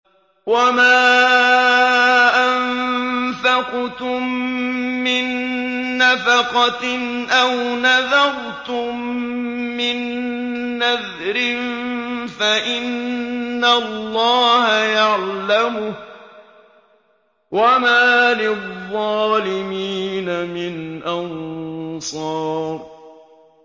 وَمَا أَنفَقْتُم مِّن نَّفَقَةٍ أَوْ نَذَرْتُم مِّن نَّذْرٍ فَإِنَّ اللَّهَ يَعْلَمُهُ ۗ وَمَا لِلظَّالِمِينَ مِنْ أَنصَارٍ